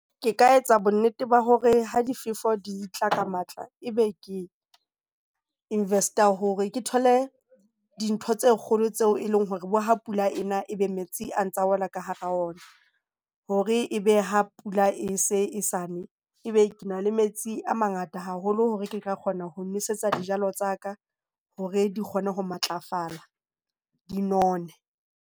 Ke ka etsa bonnete ba hore ha difefo di tla ka matla e be ke invest-a hore ke thole dintho tse kgolo tseo eleng hore ha pula e na ebe metsi a ntsa wela ka hara ona, hore e be ha pula e se sane, ebe ke na le metsi a mangata haholo hore ke ka kgona ho nosetsa dijalo tsa ka hore di kgone ho matlafala, di none.